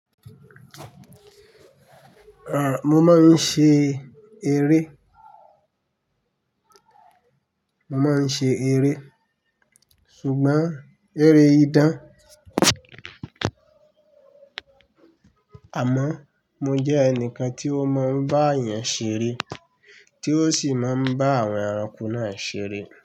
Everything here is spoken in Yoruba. À, mo máa ń ṣe eré, mo máa ń ṣe eré, ṣùgbọ́n eré idán. Àmọ́ mo jẹ́ ẹnìkan tí ó mọ̀ bá èèyàn ṣeré tí ó sì máa ń bá àwọn ẹranko náà ṣeré.